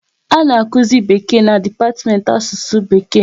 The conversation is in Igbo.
A na akuzi Bekee na dipatiment Asụsụ Bekee